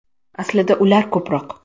Aslida ular ko‘proq.